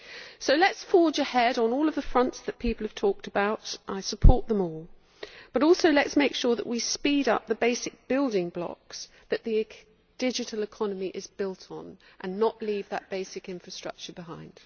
So let us forge ahead on all of the fronts that people have talked about, I support them all. But also let us make sure that we speed up the basic building blocks that the digital economy is built on and not leave that basic infrastructure behind.